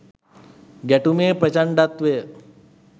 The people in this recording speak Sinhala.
ගැටුමේ ප්‍රචණ්ඩත්වය